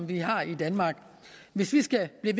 vi har i danmark hvis vi skal blive